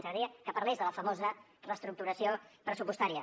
ens agradaria que parlés de la famosa reestructuració pressupostària